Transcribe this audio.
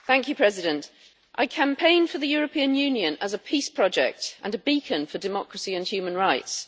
Madam President, I campaigned for the European Union as a peace project and a beacon for democracy and human rights.